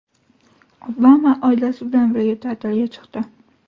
Obama oilasi bilan birga ta’tilga chiqdi.